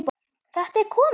Þetta er komið!